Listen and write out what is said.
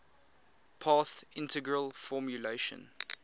path integral formulation